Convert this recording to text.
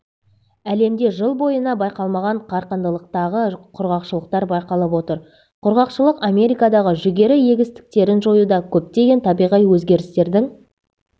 әлемде жыл бойына байқалмаған қарқындылықтағы құрғақшылықтар байқалып отыр құрғақшылық америкадағы жүгері егістіктерін жоюда көптеген табиғи өзгерістердің